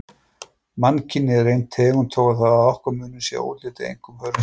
Mannkynið er ein tegund þó að nokkur munur sé á útliti, einkum hörundslit.